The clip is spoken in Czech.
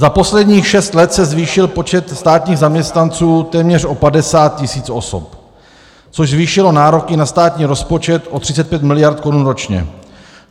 Za posledních šest let se zvýšil počet státních zaměstnanců téměř o 50 tisíc osob, což zvýšilo nároky na státní rozpočet o 35 miliard korun ročně.